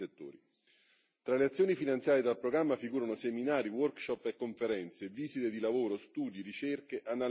Tra le azioni finanziate dal programma figurano seminari, workshop e conferenze, visite di lavoro, studi, ricerche, analisi e indagini.